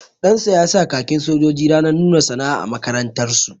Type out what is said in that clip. Ɗansa ya sa khakin sojoji ranar nuna sana'a a makarantar su